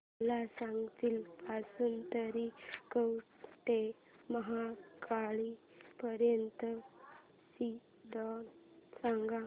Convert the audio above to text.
मला सांगली पासून तर कवठेमहांकाळ पर्यंत ची ट्रेन सांगा